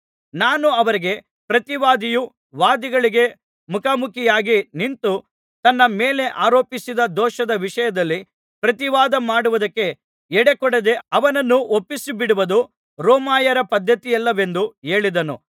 ನಾನು ಅವರಿಗೆ ಪ್ರತಿವಾದಿಯು ವಾದಿಗಳಿಗೆ ಮುಖಾಮುಖಿಯಾಗಿ ನಿಂತು ತನ್ನ ಮೇಲೆ ಆರೋಪಿಸಿದ ದೋಷದ ವಿಷಯದಲ್ಲಿ ಪ್ರತಿವಾದಮಾಡುವುದಕ್ಕೆ ಎಡೆಕೊಡದೆ ಅವನನ್ನು ಒಪ್ಪಿಸಿಬಿಡುವುದು ರೋಮಾಯರ ಪದ್ಧತಿಯಲ್ಲವೆಂದು ಹೇಳಿದೆನು